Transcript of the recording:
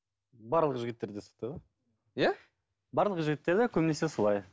барлық жігіттерде сондай ғой иә барлық жігіттерде көбінесе солай